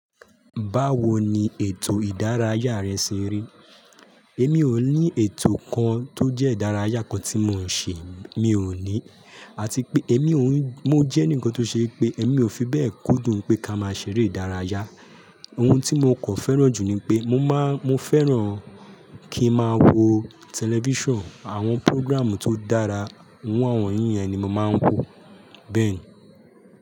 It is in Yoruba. Báwo ni ètò ìdárayá rẹ ṣe rí? Èmi ò ní ètò kan tó jẹ́ ìdárayá kan tí mò ń ṣe, mi ò ní. Àti pé èmi ò ń, mo jẹ́ ǹkan tó ṣe pé èmi ò fi bẹ́ẹ̀ kúndùn pé ká máa ṣeré ìdárayá. Ohun tí mo kò fẹ́ràn jù ni pé mo máa, mo fẹ́ràn kí n máa wo tẹlifíṣàn, àwọn púrógírámù tó dára, iru awọn yìn yen ni màá ń wò, bẹ́ẹ̀ ni.